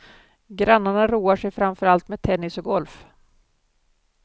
Grannarna roar sig framförallt med tennis och golf.